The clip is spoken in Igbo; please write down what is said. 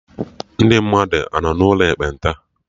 Ndị mmadụ anọ n'ụlọ ekpenta?